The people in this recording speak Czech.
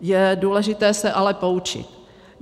Je důležité se ale poučit.